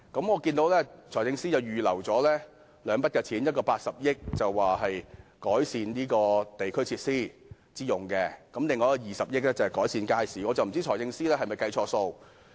我看到財政司司長預留了兩筆款項，分別是用80億元增加地區設施，以及用20億元在未來10年推行街市現代化計劃。